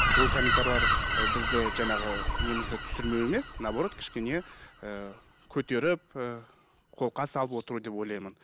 ол ы бізді жаңағы немізді түсірмеу емес наоборот кішкене ііі көтеріп ііі қолқа салып отыру деп ойлаймын